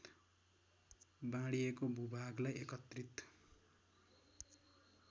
बाँडिएको भूभागलाई एकत्रित